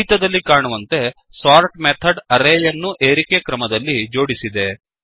ಫಲಿತದಲ್ಲಿ ಕಾಣುವಂತೆ sort method ಅರೇಯನ್ನು ಏರಿಕೆ ಕ್ರಮದಲ್ಲಿ ಜೋಡಿಸಿದೆ